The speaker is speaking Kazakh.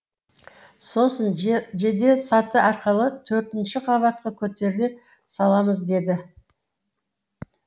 сосын же жеделсаты арқылы төртінші қабатқа көтеріле саламыз деді